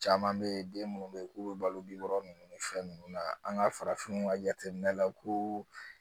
Caman bɛ yen den minnu bɛ yen k'u bɛ balo ɔrɔ ninnu ni fɛn ninnu na an ka farafinw ka jateminɛ la ko